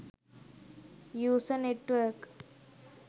usa network